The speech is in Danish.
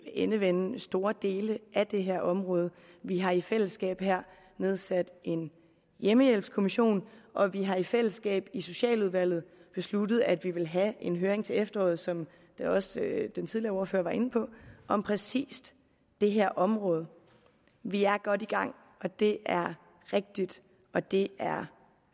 endevende store dele af det her område vi har i fællesskab nedsat en hjemmehjælpskommission og vi har i fællesskab i socialudvalget besluttet at vi vil have en høring til efteråret som også den tidligere ordfører var inde på om præcis det her område vi er godt i gang og det er rigtigt og det er